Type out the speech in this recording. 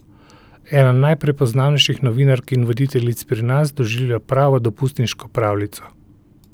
Ena najprepoznavnejših novinark in voditeljic pri nas doživlja pravo dopustniško pravljico.